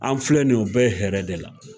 An filɛ nin ye o bɛɛ hɛrɛ de la.